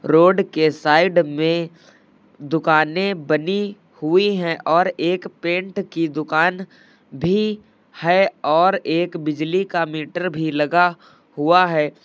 Road के side में दुकानें बनी हुई हैं और एक पेंट की दुकान भी है और एक बिजली का मीटर भी लगा हुआ है।